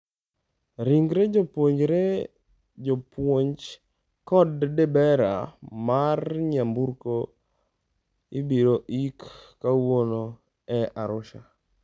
Ringre jopuonjre, jopuonj, kod dereba mar nyamburko ibiro ik kawuono e Arusha